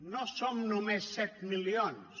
no som només set milions